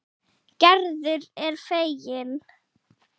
Gerður er fegin.